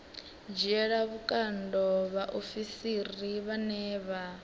dzhiela vhukando vhaofisiri vhane vha